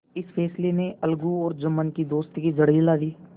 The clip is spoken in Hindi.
इस फैसले ने अलगू और जुम्मन की दोस्ती की जड़ हिला दी